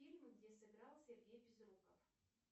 фильмы где сыграл сергей безруков